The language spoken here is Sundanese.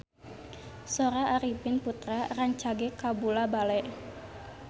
Sora Arifin Putra rancage kabula-bale